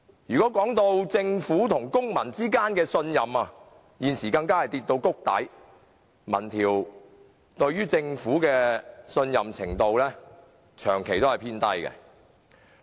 至於政府與公民之間的信任，現時更跌至谷底，民調顯示市民對政府的信任程度長期偏低。